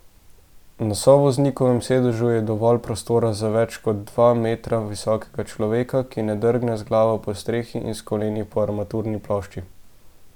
Na sovoznikovem sedežu je dovolj prostora za več kot dva metra visokega človeka, ki ne drgne z glavo po strehi in s koleni po armaturni plošči.